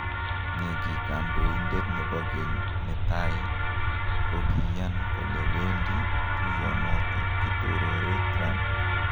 Negi Kandoindet nebo geny netai kogiyan kole wendi tuyo noton kitorore Trump.